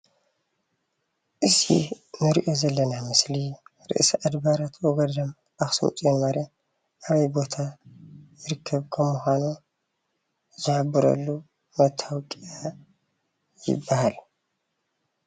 እዚ እንሪኦ ዘለና ምስሊ ርእሰ ኣድባራት ወገዳማት ኣክሱም ፅዮን ማርያም ኣበይ ቦታ ዝርከብ ከም ምኳኑ ዝሕበረሉ መታወቅያ ይባሃል፡፡